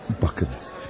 Baxın.